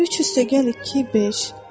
3 + 2 = 5.